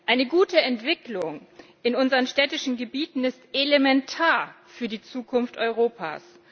Eine gute Entwicklung in unseren städtischen Gebieten ist elementar für die Zukunft Europas.